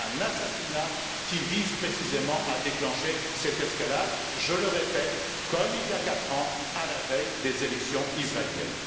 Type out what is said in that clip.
assassinat visant précisément à déclencher cette escalade je le répète, comme il y a quatre ans à la veille des élections israéliennes.